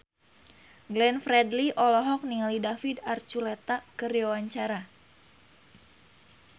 Glenn Fredly olohok ningali David Archuletta keur diwawancara